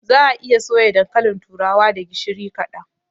Za'a iya soya dankalin turawa da gishiri kaɗan.